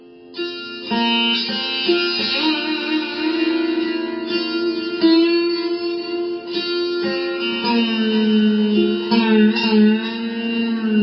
ধ্বনি clip ২১ second বাদ্যযন্ত্ৰ সুৰচিংগাৰ শিল্পী জয়দীপ মুখাৰ্জী